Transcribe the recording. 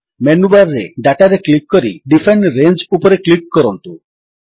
menu bar ରେ Dataରେ click କରି ଡିଫାଇନ୍ ରଙ୍ଗେ ଉପରେ କ୍ଲିକ୍ କରନ୍ତୁ